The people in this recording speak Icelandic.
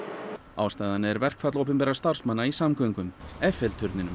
ástæðan er verkfall opinberra starfsmanna í samgöngum